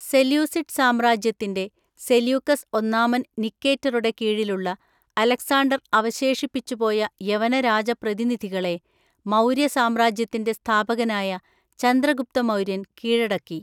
Seleucid സാമ്രാജ്യത്തിൻ്റെ, സെല്യൂക്കസ് ഒന്നാമൻ നിക്കേറ്ററുടെ കീഴിലുള്ള, അലക്സാണ്ടർ അവശേഷിപ്പിച്ചുപോയ യവനരാജപ്രതിനിധികളെ, മൗര്യസാമ്രാജ്യത്തിൻ്റെ സ്ഥാപകനായ ചന്ദ്രഗുപ്തമൗര്യൻ കീഴടക്കി.